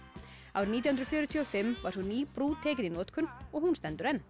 árið nítján hundruð fjörutíu og fimm var svo ný brú tekin í notkun og hún stendur enn